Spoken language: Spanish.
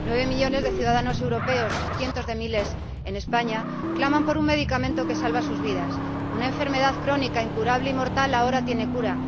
Nueve millones de ciudadanos europeos, cientos de miles en España, claman por un medicamento que salva sus vidas. Una enfermedad crónica, incurable y mortal ahora tiene cura.